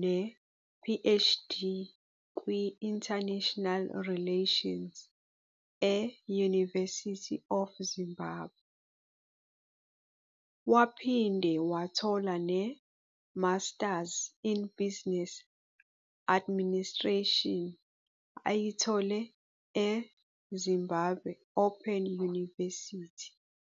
ne-PhD kwi-International Relations e-University of Zimbabwe, waphinde wathola ne-Masters in Business Administration ayithole e-Zimbabwe Open University